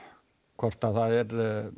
hvort það er